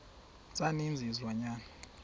za ninzi izilwanyana